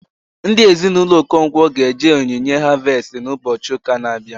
Ndị Ezinụlọ Okonkwo ga eje onyinye harvestị na ụbọchị ụka na abịa